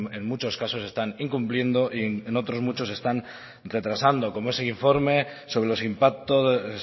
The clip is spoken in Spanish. en muchos casos se están incumpliendo y en otros muchos se están retrasando como ese informe sobre los impactos